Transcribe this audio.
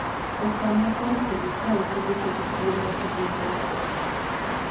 e sama koro sirikal kedo kod tuono e bombe madongo